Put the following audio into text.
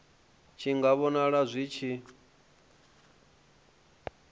tshi nga vhonala zwi tshi